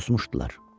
Susmuşdular.